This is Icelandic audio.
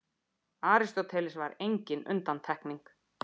Aristóteles var engin undantekning.